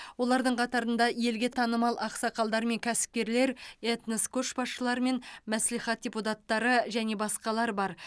олардың қатарында елге танымал ақсақалдар мен кәсіпкерлер этнос көшбасшылары мен мәслихат депутаттары және басқалар бар